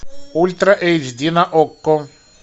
ультра эйч ди на окко